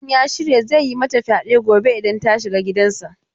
Mutumin ya shirya zai yi mata fyade gobe idan ta shiga gidansa.